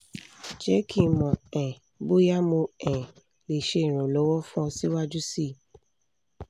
jẹ ki n mọ um boya mo um le ṣe iranlọwọ fun ọ siwaju sii